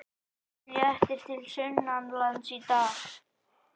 Léttir til sunnanlands í dag